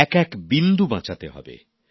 এক এক বিন্দু বাঁচাতে হবে